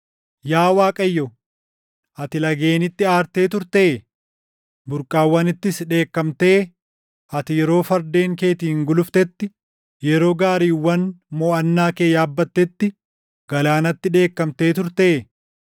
Yaa Waaqayyo, ati lageenitti aartee turtee? Burqaawwanittis dheekkamtee? Ati yeroo fardeen keetiin guluftetti, yeroo gaariiwwan moʼannaa kee yaabbatetti galaanatti dheekkamtee turtee?